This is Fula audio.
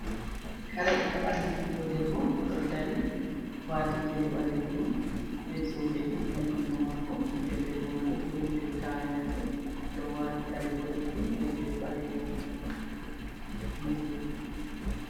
Kare ha ɓandu biɗɗo debbo, odo dari, wati gele ɓalejum ɓe zobe ɗiɗi ha jungo mako, ɓingel debbo man ɗo joɗi do tayaji, ɗo wati kare bodejum ɓe gele ɓalejum. bingel